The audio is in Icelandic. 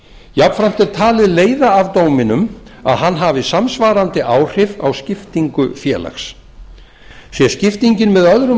jafnframt er talið leiða af dóminum að hann hafi samsvarandi áhrif á skiptingu félags sé skiptingin